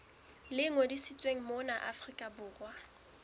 le ngodisitsweng mona afrika borwa